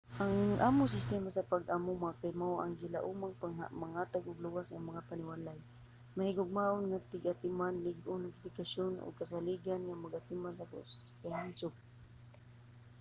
ang among sistema sa pag-amuma kay mao ang gilaumang maghatag og luwas nga mga panimalay mahigugmaon nga tig-atiman lig-on nga edukasyon ug kasaligan nga pag-atiman sa kahimsog